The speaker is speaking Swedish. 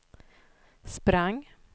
sprang